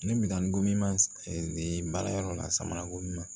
Ne minan gomin ma baara yɔrɔ la samara ko min ma